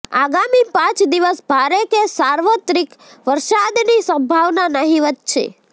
આગામી પાંચ દિવસ ભારે કે સાર્વત્રિક વરસાદની સંભાવના નહિવત છે